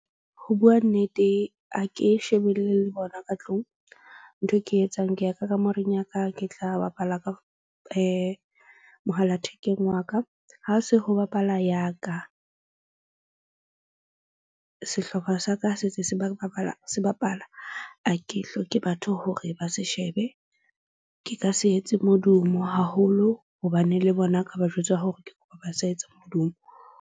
Ho bua nnete ha ke shebelle le bona ka tlung. Ntho e ke etsang ke ya ka kamoreng ya ka. Ke tla bapala ka mohala thekeng wa ka. Ha se ho bapala ya ka sehlopha sa ka se se se bapala, se bapala, ha ke hloke batho hore ba se shebe. Ke ka se etse modumo haholo hobane le bona ka ba jwetsa hore ke kopa ba sa etsa modumo.